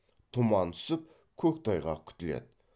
тұман түсіп көктайғақ күтіледі